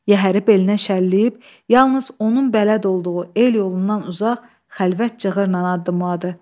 Yəhəri belinə şəlləyib, yalnız onun bələd olduğu el yolundan uzaq, xəlvət cığırla addımladı.